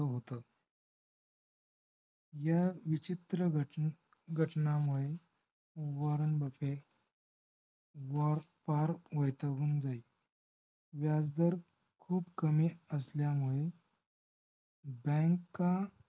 ह्या विचित्र घटन~ घटनामुळे वारण बुफ्फ वर फार वैतागून जाई. व्याज दर खूप कमी असल्यामुळे bank